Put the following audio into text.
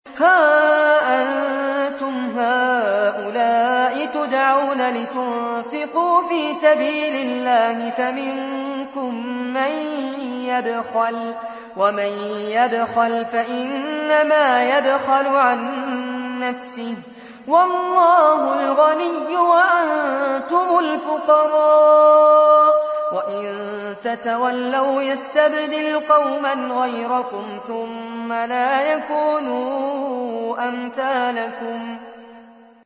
هَا أَنتُمْ هَٰؤُلَاءِ تُدْعَوْنَ لِتُنفِقُوا فِي سَبِيلِ اللَّهِ فَمِنكُم مَّن يَبْخَلُ ۖ وَمَن يَبْخَلْ فَإِنَّمَا يَبْخَلُ عَن نَّفْسِهِ ۚ وَاللَّهُ الْغَنِيُّ وَأَنتُمُ الْفُقَرَاءُ ۚ وَإِن تَتَوَلَّوْا يَسْتَبْدِلْ قَوْمًا غَيْرَكُمْ ثُمَّ لَا يَكُونُوا أَمْثَالَكُم